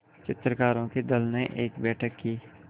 चित्रकारों के दल ने एक बैठक की